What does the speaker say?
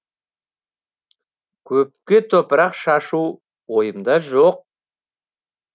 көпке топырақ шашу ойымда жоқ